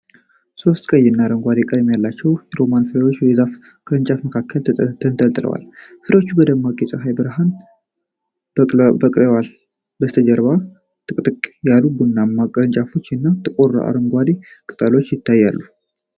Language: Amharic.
ሦስት ቀይ እና አረንጓዴ ቀለም ያላቸው ሮማን ፍሬዎች በዛፍ ቅርንጫፎች መካከል ተንጠልጥለዋል። ፍሬዎቹ በደማቅ የፀሐይ ብርሃን በቅተዋል፤ ከበስተጀርባ ጥቅጥቅ ያሉ ቡናማ ቅርንጫፎች እና ጥቁር አረንጓዴ ቅጠሎች ይታያሉ።